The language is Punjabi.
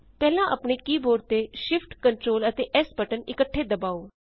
ਪਹਿਲਾਂ ਆਪਣੇ ਕੀ ਬੋਰਡ ਤੇ Shift Ctrl ਅਤੇ S ਬਟਨ ਇੱਕਠੇ ਦਬਾਉ